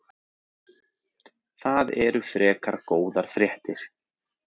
Það eru frekar góðar fréttir.